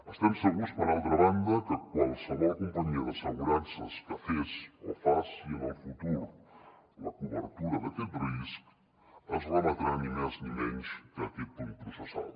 estem segurs per altra banda que qualsevol companyia d’assegurances que fes o faci en el futur la cobertura d’aquest risc es remetrà ni més ni menys que a aquest punt processal